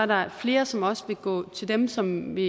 der flere som også vil gå til dem som vil